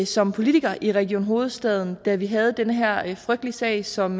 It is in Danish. som politiker i region hovedstaden da vi havde den her frygtelige sag som